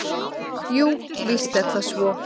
Jú, víst er það svo.